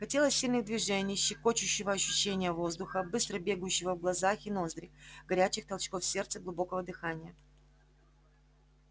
хотелось сильных движений щекочущего ощущения воздуха быстро бегущего в глаза и ноздри горячих толчков сердца глубокого дыхания